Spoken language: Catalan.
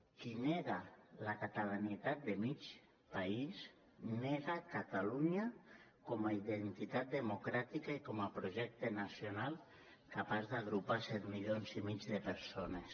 qui nega la catalanitat de mig país nega catalunya com a identitat democràtica i com a projecte nacional capaç d’agrupar set milions i mig de persones